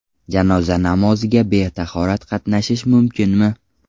Janoza namoziga betahorat qatnashish mumkinmi?.